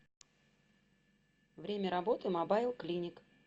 время работы мобайл клиник